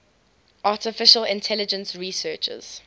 artificial intelligence researchers